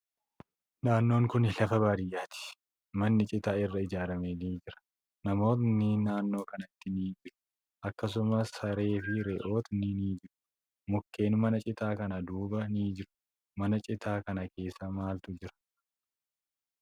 Naannon kuni lafa baadiyyaati. Manni citaa irraa ijaarame ni jira. Namootni naannoo kana ni jiru. Akkasumas, saree fi re'ootni ni jiru. Mukkeen mana citaa kana duuba ni jiru. Mana citaa kana keessa maaltu jira?